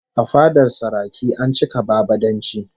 A fadar saraki an cika bambadanci